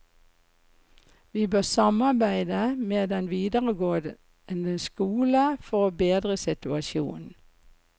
Vi bør samarbeide med den videregående skole for å bedre situasjonen.